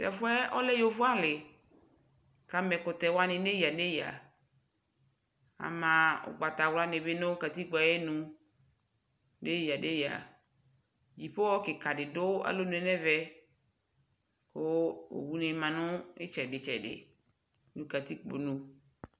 tɛƒʋɛ ɔlɛ yɔvɔ ali kʋ ama ɛkʋtɛ wani nʋ ɛya ɛya ,ama ɔgbata wla nibi nʋ katikpɔɛ ayinʋ nʋ ɛya ɛya, ikpɔhɔ kikaa dibi dʋalɔnʋɛ nʋ ɛmɛ kʋ ɔwʋ ni manʋ itsɛdi tsɛdi nʋ katikpɔ nʋ